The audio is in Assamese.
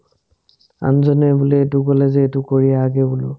আনজনে বোলে এটো ক'লে যে এটো কৰি আহ্গে বোলো